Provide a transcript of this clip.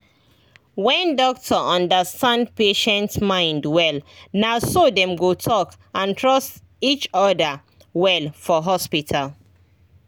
when doctor understand patient mind wellnaso dem go talk and trust each other well for hospital